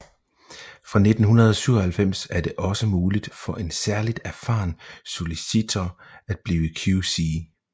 Fra 1997 er det også muligt for en særligt erfaren solicitor at blive QC